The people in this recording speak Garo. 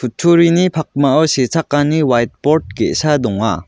pakmao sechakani waitbord ge·sa donga.